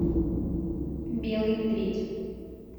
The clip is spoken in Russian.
белый медведь